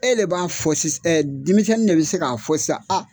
E de b'a fɔ si denmisɛn de bɛ se k'a fɔ sisan a